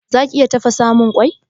Zaki iya tafasamun mun kwai?